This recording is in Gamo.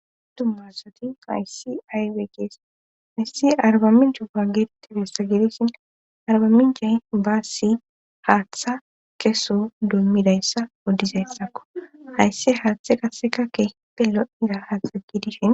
Tummaasati haysssi aywey kees haissi arbamminchupa geetette bessa gidissina arbaminchay baassi haaththa keso dummidayssa oddizayssakko hayssi haaththe qasseka kepe lo'iza haasagi dishen.